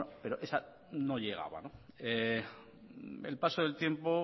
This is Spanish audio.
pero esa no llegaba el paso del tiempo